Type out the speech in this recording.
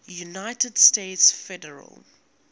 united states federal